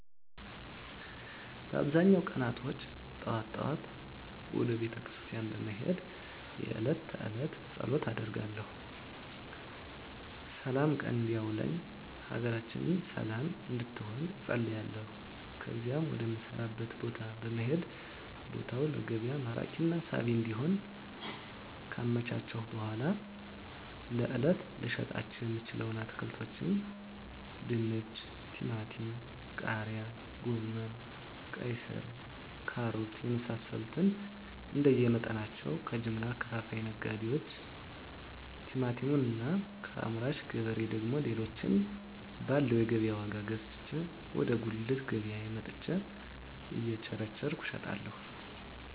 በአብዛኛው ቀናቶች ጠዋት ጠዋት ወደ ቤተክርስቲያን በመሄድ የእለት ተእለት ፀሎት አደርጋለሁ ስላም ቀን እንዲያውለኝ ሀገራችንን ሰለም እንድትሆን እፀልያለሁ ከዚያም ወደ ምሰራበት ቦታ በመሄድ ቦታውን ለገቢያ ማራኪና ሳቢ እንዲሆን ካመቻቸሁ በኃላ ለእለት ልሸጣቸው የምችለዉን አትክልቶች ድንች ቲማቲም ቃሪያ ጎመን ቀይስር ካሮት የመሳሰሉትንእንደየ መጠናቸው ከጀምላ አከፋፋይ ነጋዴዎች ቲማቲሙን እና ከአምራች ገበሬ ደግሞ ሌሎችን ባለው የገቢያ ዋጋ ገዝቼ ወደ ጉልት ገቢያየ መጥቸ እየቸረቸርኩ እሸጣለሁ